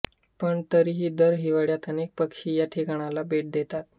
पण तरीही दर हिवाळ्यात अनेक पक्षी या ठिकाणाला भेट देतात